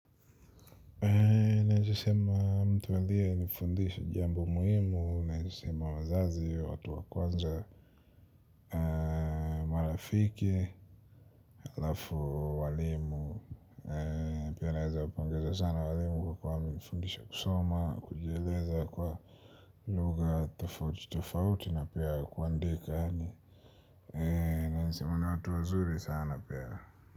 Naeza sema mtu alienifundisha jambo muhimu na naeza sema wazazi watu wakwanza. Marafiki, alafu walimu. Pia naweza kuongeza sana walimu kwa kuwa wamenifundisha kusoma, kujieleza kwa lugha tofauti tofauti na pia kuandika yaani naeza sema ni watu wazuri sana pia.